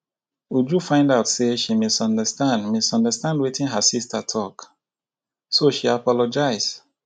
uju find out say she misunderstand misunderstand wetin her sister talk so she apologize